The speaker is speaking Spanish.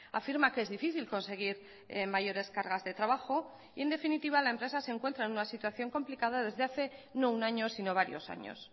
afirma que es difícil conseguir mayores cargas de trabajo y en definitiva la empresa se encuentra en una situación complicada desde hace no un año sino varios años